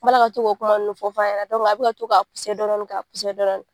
N b'a ko kuma ninnu fɔ fɔ a ɲɛna a bi ka to dɔɔnin dɔɔnin.